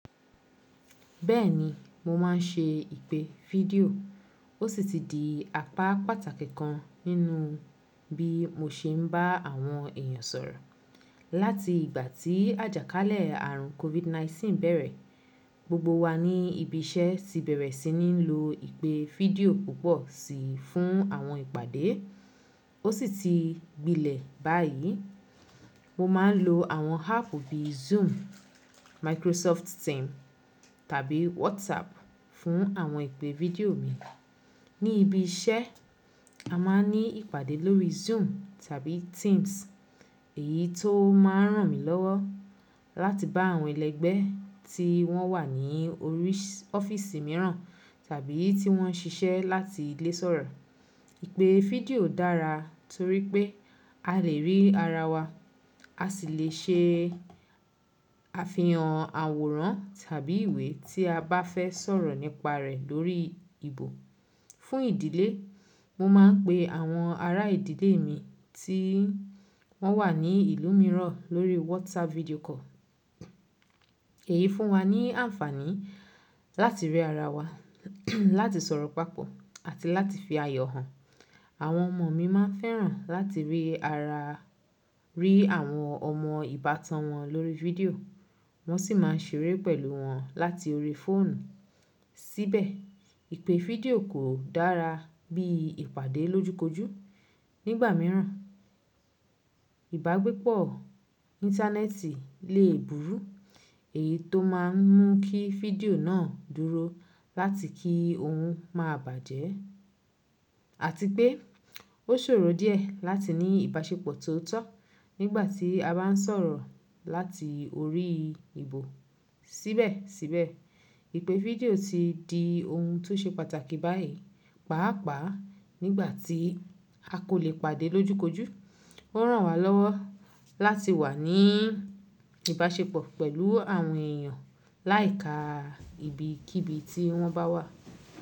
Bẹ́ẹ̀ni, mo má n ṣe ìpè fídíò, ó sì ti di apá pàtàkì kan nínú bí mo ṣe n bá àwọn èèyàn sọ̀rọ̀. Láti ìgbà tí àjàkálẹ̀ àrùn COVID-19 bẹ̀rẹ̀, gbogbo wa ní ibi iṣẹ́ ti bẹ̀rẹ̀ sí ní lo ìpè fídíò púpọ̀ sí fún àwọn ìpàdé, ó sì ti gbilẹ̀ báyìí. Mo má n lo àwọn áàpù bí i Zoom, Microsoft Team tàbí WhatsApp fún àwọn ìpè fídíò mi. Ní ibi iṣẹ́, a má n ní ìpàdé lórí Zoom tàbí Teams, èyí tón má n ràn mí lọ́wọ́ láti bá àwọn ẹlẹgbẹ́ tí wọ́n wà ní orí ọ́fíìsì mìíràn tàbí tí wọ́n nṣiṣẹ́ láti ilé sọ̀rọ̀. Ìpè fídíò dára torí pé a lè rí ara wa, a sì le ṣe àfihàn àwòrán tàbí ìwé tí a bá fẹ́ sọ̀rọ̀ nípa rẹ̀ lórí ìbò. Fún ìdílé, mo má n pe àwọn ará ìdílé mi tí wọ́n wà ní ìlú mìíràn lórí WhatsApp video call. Èyí fún wa ní àǹfàní láti rí ara wa, láti sọ̀rọ̀ papọ̀ àti láti fi ayọ̀ hàn. Àwọn ọmọ mi má n fẹ́ràn láti rí ara, rí àwọn ọmọ ìbátan wọn lórí fídíò, wọ́n sì má n ṣeré pẹ̀lú wọn láti orí fóònù. Síbẹ̀, ìpè fídíò kò dára bí ìpàdé lojú kojú. Nígbà mìíràn, ìbágbépọ̀ íńtánẹ́ẹ̀tì le burú, èyí tó má n mú kí fídíò náà dúró láti kí òun má bàjẹ́ àti pé ó ṣòro díẹ̀ láti ní ìbáṣepọ̀ tó tọ́ nígbà tí a bá n sọ̀rọ̀ láti orí ìbò. Síbẹ̀síbẹ̀, ìpè fídíò ti di ohun tó ṣe pàtàkì báyìí, pàápàá nígbà tí a kò le pàdé lojú kojú. Ó ràn wá lọ́wọ́ láti wà ní ìbáṣepọ̀ pẹ̀lú àwọn èèyàn láì ka ibi kí ibi tí wọ́n bá wà.